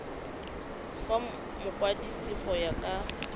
go mokwadise go ya ka